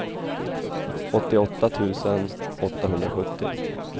åttioåtta tusen åttahundrasjuttio